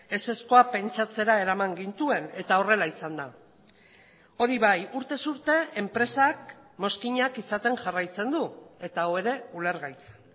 ezezkoa pentsatzera eraman gintuen eta horrela izan da hori bai urtez urte enpresak mozkinak izaten jarraitzen du eta hau ere ulergaitza